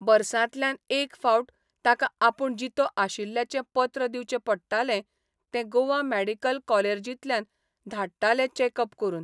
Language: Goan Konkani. बर्सातल्यान एक फावट ताका आपूण जितो आशिल्ल्याचें पत्र दिवचें पडटालें तें गोवा मॅडिकल कॉलेर्जीतल्यान धाडटाले चेकप करून.